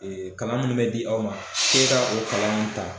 Kalan munnu mɛ di aw ma, k'e ka o kalan nunnu ta